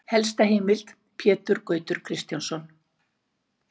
Helsta heimild: Pétur Gautur Kristjánsson.